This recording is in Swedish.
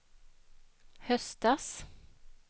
höstas